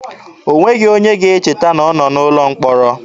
O nweghị onye ga-echeta na ọ nọ n'ụlọ mkpọrọ.